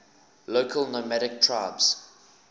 local nomadic tribes